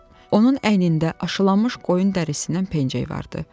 Onun əynində aşılanmış qoyun dərisindən pencək vardı.